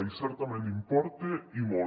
i certament importa i molt